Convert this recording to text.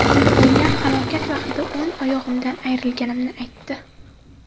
Oilam halokat vaqtida o‘ng oyog‘imdan ayrilganimni aytdi.